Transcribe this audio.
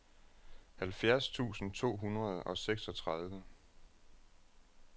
halvfjerds tusind to hundrede og seksogtredive